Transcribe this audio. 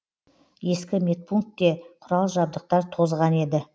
ескі медпунктте құрал жабдықтар тозған еді